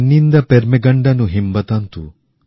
পেণ্ণিন্দা পেরমেগনডনু হিমাবঁতন্তু